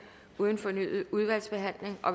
uden fornyet udvalgsbehandling